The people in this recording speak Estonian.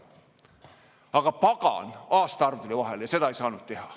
Aga pagan, aastaarv tuli vahel ja seda ei saanud teha.